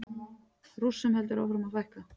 Rússum heldur áfram að fækka